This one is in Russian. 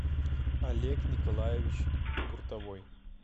олег николаевич гуртовой